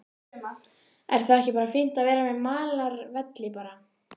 Er þá ekki bara fínt að vera með malarvelli bara?